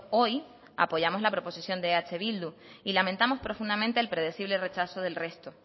hoy apoyamos la proposición de eh bildu y lamentamos profundamente el predecible rechazo del resto